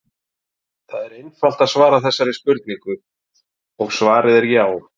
Það er einfalt að svara þessari spurningu og svarið er já!